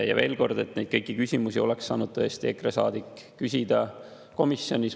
Veel kord: kõiki neid küsimusi oleks saanud tõesti EKRE saadik küsida komisjonis.